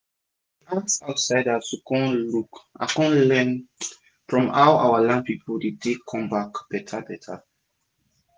we dey ask outsiders to com look and con learn from how our land dey tak com back beta beta